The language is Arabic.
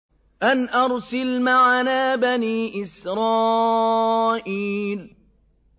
أَنْ أَرْسِلْ مَعَنَا بَنِي إِسْرَائِيلَ